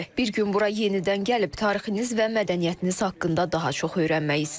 Bir gün bura yenidən gəlib tarixinizi və mədəniyyətiniz haqqında daha çox öyrənmək istərdim.